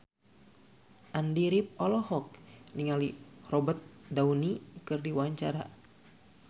Andy rif olohok ningali Robert Downey keur diwawancara